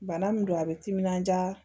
Bana min don a bɛ timinanja